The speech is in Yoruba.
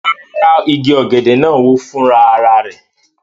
Rárá, igi ọ̀gẹ̀dẹ̀ náà wó fúnra ara rẹ̀